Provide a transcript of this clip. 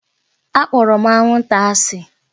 Akpọrọ m anwụnta asị